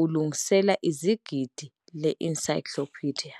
ulungise izigidi le encyclopedia